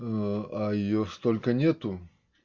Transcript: её столько нету